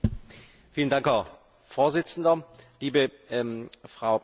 Frau Präsidentin, lieber Herr Kommissar, liebe Kolleginnen und Kollegen!